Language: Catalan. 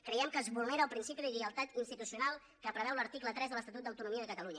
creiem que es vulnera el principi de lleialtat institucional que preveu l’article tres de l’estatut d’autonomia de catalunya